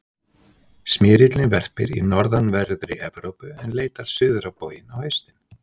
Smyrillinn verpir í norðanverðri Evrópu en leitar suður á bóginn á haustin.